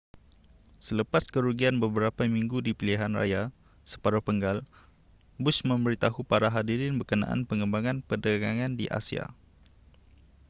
selepas kerugian beberapa minggu di pilihanraya separuh penggal, bush memberitahu para hadirin berkenaan pengembangan perdagangan di asia